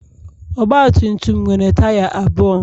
Ogbatumtum nwere taya abụọ